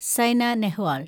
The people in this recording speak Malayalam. സൈന നെഹ്വാൾ